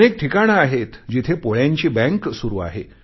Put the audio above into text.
अनेक ठिकाणे आहेत जिथे पोळ्यांची बँक सुरु आहे